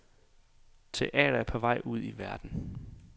Teater er på vej ud i verden.